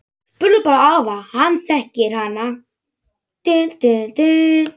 Spurðu bara afa, hann þekkir hana!